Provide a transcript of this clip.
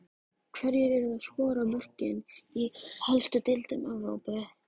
Hverjir eru að skora mörkin í helstu deildum Evrópu?